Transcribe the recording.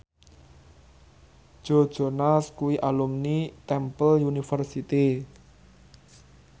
Joe Jonas kuwi alumni Temple University